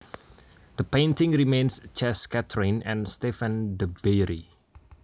The painting remains chez Catherine and Stephane De Beyrie